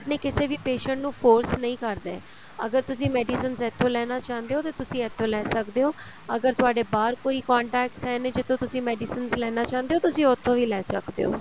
ਕਿਸੇ ਵੀ patient ਨੂੰ force ਨਹੀਂ ਕਰਦੇ ਅਗਰ ਤੁਸੀਂ medicines ਇੱਥੋ ਲੈਣਾ ਚਾਹੁੰਦੇ ਓ ਤਾਂ ਤੁਸੀਂ ਇੱਥੋ ਲੈ ਸਕਦੇ ਓ ਅਗਰ ਤੁਹਾਡੇ ਬਾਹਰ ਕੋਈ contacts ਹੈ ਨੇ ਜਿੱਥੋ ਤੁਸੀਂ medicines ਲੈਣਾ ਚਾਹੁੰਦੇ ਓ ਤੁਸੀਂ ਉੱਥੋ ਵੀ ਲੈ ਸਕਦੇ ਓ